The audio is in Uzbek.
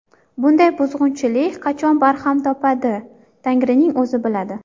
Bunday buzg‘unchilik qachon barham topadi Tangrining o‘zi biladi.